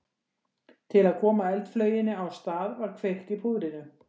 Til að koma eldflauginni á stað var kveikt í púðrinu.